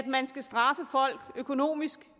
man skal straffe folk økonomisk